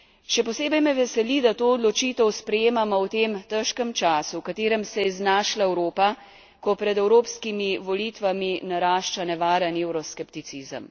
Še posebej me veseli, da to odločitev sprejemamo v tem težkem času, v katerem se je znašla Evropa, ko pred evropskimi volitvami narašča nevaren evroskepticizem.